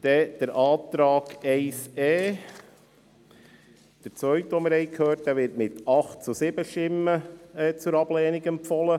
Der Antrag 1e, der zweite, zu dem wir etwas gehört haben, wird mit 8 zu 7 Stimmen zur Ablehnung empfohlen.